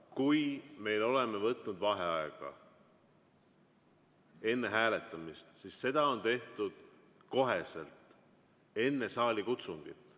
Kui me oleme võtnud vaheaega enne hääletamist, siis seda on tehtud koheselt enne saalikutsungit.